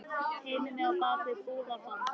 Teymir mig á bak við búðarborð.